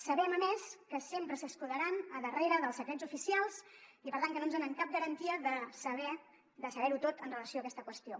sabem a més que sempre s’escudaran darrere dels secrets oficials i per tant que no ens donen cap garantia de saber ho tot amb relació a aquesta qüestió